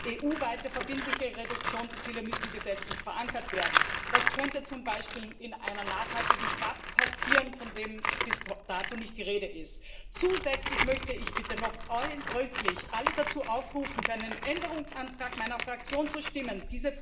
EU weite verbindliche Reduktionsziele müssen gesetzlich verankert werden. Das könnte zum Beispiel in einer nachhaltigen GAP passieren, wovon bis dato nicht die Rede ist. Zusätzlich möchte ich bitte noch nachdrücklich alle dazu aufrufen, für einen Änderungsantrag meiner Fraktion zu stimmen.